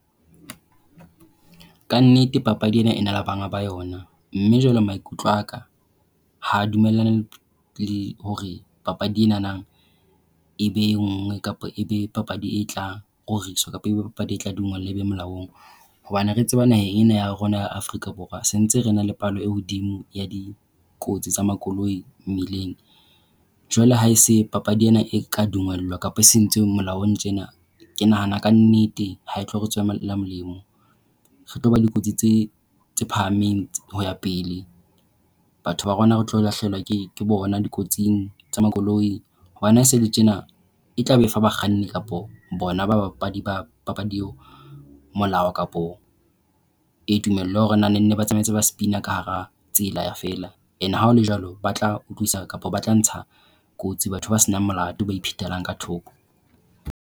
Ka nnete, papadi ena e na le banga ba yona, mme jwale maikutlo a ka ha dumellane hore papadi ena e be e nngwe kapa ebe papadi e tlang kapa papadi e tla dumellwa e be molaong hobane re tseba naheng ena ya rona ya Afrika Borwa, se ntse re na le palo e hodimo ya dikotsi tsa makoloi mmileng. Jwale ha e se papadi ena e ka dumellwa kapa e sentse molaong tjena. Ke nahana ka nnete ha e tlo re tswela molemo. Re tlo ba le dikotsi tse tse phahameng ho ya pele. Batho ba rona re tlo lahlehelwa ke bona dikotsing tsa makoloi hobane haesele tjena e tla be fa bakganni kapa bona babapadi tsa papadi eo molao kapa e tumello hore ba ne ba tsamaye ba ntse ba spin-a ka hara tsela feela and ha ho le jwalo ba tla utlwisisa kapa ba tla ntsha kotsi batho ba senang molato ba iphetelang ka thoko.